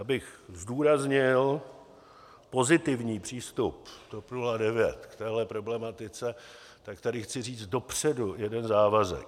Abych zdůraznil pozitivní přístup TOP 09 k téhle problematice, tak tady chci říct dopředu jeden závazek.